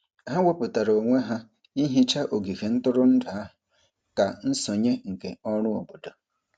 Ha wepụtara onwe ha ihicha ogige ntụrụndụ ahụ dị ka nsonye nke ọrụ obodo.